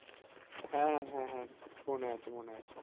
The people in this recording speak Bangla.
হ্যাঁ হ্যাঁ হ্যাঁ মনে আছে মনে আছে